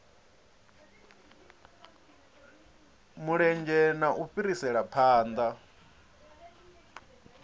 mulenzhe na u fhirisela phanḓa